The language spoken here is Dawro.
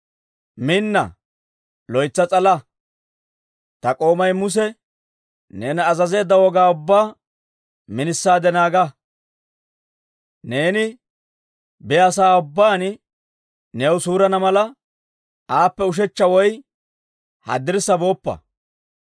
Minna; loytsa s'ala! Ta k'oomay Muse neena azazeedda Wogaa ubbaa minisaade naaga. Neeni biyaasa'aa ubbaan new suurana mala, aappe ushechcha woy haddirssa booppa.